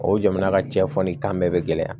O jamana ka cɛfarin tan bɛɛ bɛ gɛlɛya